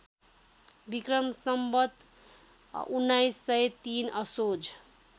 विक्रम सम्वत १९०३ असोज